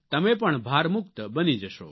તમે પણ ભારમુક્ત બની જશો